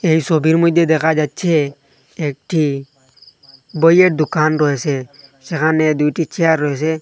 এই সোবির মইধ্যে দেখা যাচ্ছে একটি বইয়ের দুকান রয়েসে সেখানে দুইটি চেয়ার রয়সে।